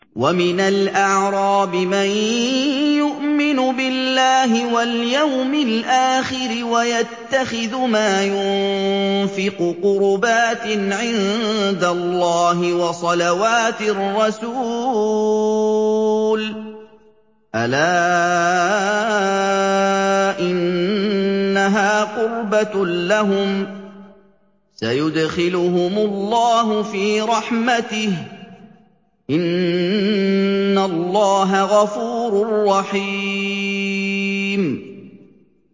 وَمِنَ الْأَعْرَابِ مَن يُؤْمِنُ بِاللَّهِ وَالْيَوْمِ الْآخِرِ وَيَتَّخِذُ مَا يُنفِقُ قُرُبَاتٍ عِندَ اللَّهِ وَصَلَوَاتِ الرَّسُولِ ۚ أَلَا إِنَّهَا قُرْبَةٌ لَّهُمْ ۚ سَيُدْخِلُهُمُ اللَّهُ فِي رَحْمَتِهِ ۗ إِنَّ اللَّهَ غَفُورٌ رَّحِيمٌ